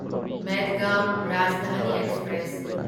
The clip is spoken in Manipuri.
ꯃꯦꯗꯒꯥꯎꯟ ꯔꯥꯖꯙꯥꯅꯤ ꯑꯦꯛꯁꯄ꯭ꯔꯦꯁ